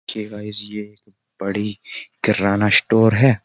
देखिए गाइस ये बड़ी किराना स्टोर है।